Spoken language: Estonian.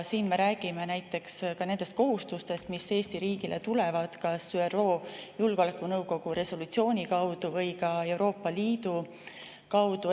Siin me räägime näiteks ka nendest kohustustest, mis Eesti riigile tulevad kas ÜRO Julgeolekunõukogu resolutsiooni või ka Euroopa Liidu kaudu.